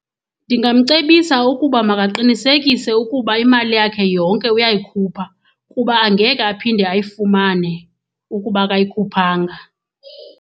Ndingamcebisa ukuba makaqinisekise ukuba imali yakhe yonke uyayikhupha kuba angeke aphinde ayifumane ukuba akayikhuphanga.